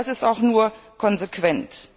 Das ist auch nur konsequent.